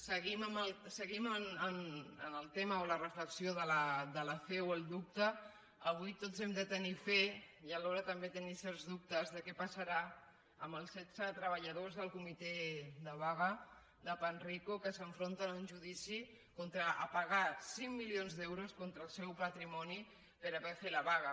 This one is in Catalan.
seguint amb el tema o la reflexió de la fe o el dubte avui tots hem de tenir fe i alhora també tenim certs dubtes de què passarà amb els setze treballadors del comitè de vaga de panrico que s’enfronten a un judici a pagar cinc milions d’euros contra el seu patrimoni per haver fet la vaga